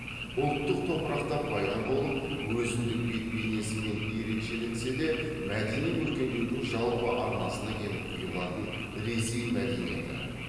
ұлттық топырақта пайда болып өзіндік бет бейнесімен ерекшеленсе де мәдени өркендеудің жалпы арнасына келіп құйылатын ресей мәдениеті